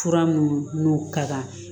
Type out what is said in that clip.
Fura minnu n'o ka kan